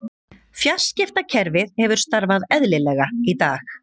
Fjarskiptakerfið hefur starfað eðlilega í dag